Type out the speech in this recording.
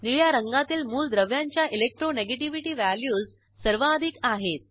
निळ्या रंगातील मूलद्रव्यांच्या इलेक्ट्रोनेगेटिव्हिटी व्हॅल्यूज सर्वाधिक आहेत